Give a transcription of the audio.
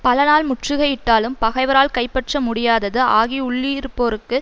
பலநாள் முற்றுகையிட்டாலும் பகைவரால் கைப்பற்ற முடியாதது ஆகி உள்ளிருப்போருக்கு